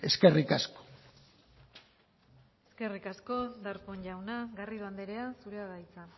eskerrik asko eskerrik asko darpón jauna garrido andrea zurea da hitza